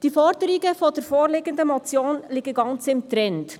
Die Forderungen der vorliegenden Motion liegen ganz im Trend: